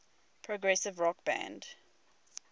progressive rock band